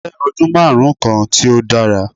Je odun marun kan ti o dara